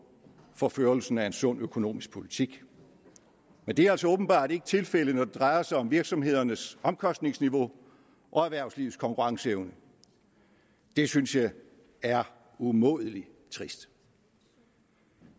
for førelsen af en sund økonomisk politik men det er altså åbenbart ikke tilfældet når det drejer sig om virksomhedernes omkostningsniveau og erhvervslivets konkurrenceevne det synes jeg er umådelig trist